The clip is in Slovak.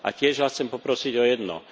A tiež Vás chcem poprosiť o jedno.